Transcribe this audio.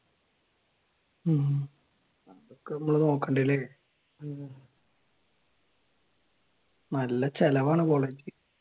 ഉം അതൊക്കെ നമ്മൾ നോക്കണ്ടേ അല്ല ഉം നല്ല ചിലവാണ് കോളേജിൽ